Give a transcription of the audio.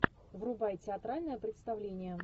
врубай театральное представление